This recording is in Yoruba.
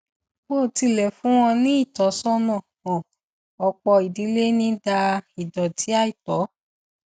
bó tilẹ fún wọn ní ìtọsọnà hàn ọpọ ìdílé ń da ìdọtí àìtọ